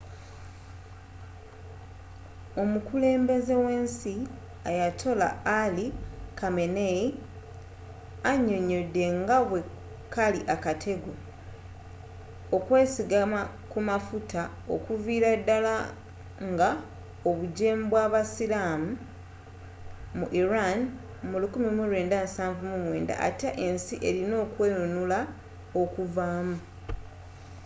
omukulembeze w'ensi ayatollah ali khamenei annyonnyodde nga bwe kali akatego” okwesigama ku mafuta okuviira ddala nga obujeemu bw’abasiiramu mu iran mu 1979 ate ensi erina okwenunula okukavaamu